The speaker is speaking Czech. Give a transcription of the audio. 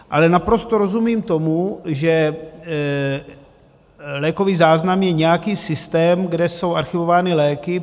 Ale naprosto rozumím tomu, že lékový záznam je nějaký systém, kde jsou archivovány léky.